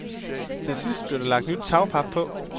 Til sidst blev der lagt nyt tagpap på.